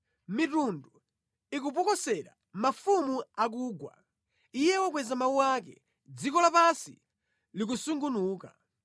Mitundu ikupokosera, mafumu akugwa; Iye wakweza mawu ake, dziko lapansi likusungunuka.